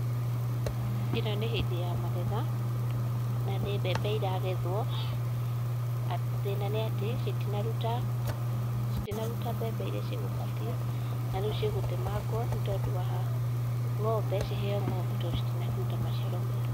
ĩno nĩ hĩndĩ ya magetha, na nĩ mbembe iragethwo, thĩna nĩati citinaruta mbembe iria cikũbatiĩ, na rĩu cigũtemangwo nĩ tondũ wa ng'ombe ciheyũo ng'ombe ,tondũ citinaruta maciaro mega.